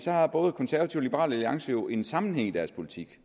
har både konservative og liberal alliance jo en sammenhæng i deres politik